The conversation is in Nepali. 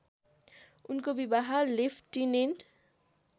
उनको विवाह लेफ्टिनेन्ट